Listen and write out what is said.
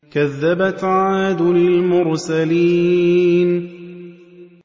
كَذَّبَتْ عَادٌ الْمُرْسَلِينَ